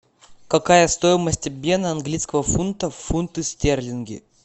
какая стоимость обмена английского фунта в фунты стерлинги